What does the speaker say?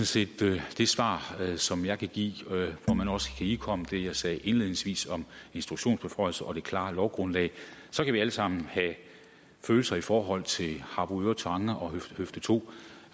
set det svar som jeg kan give hvor man også kan ihukomme det jeg sagde indledningsvis om instruktionsbeføjelser og det klare lovgrundlag og så kan vi alle sammen have følelser i forhold til harboøre tange og høfde to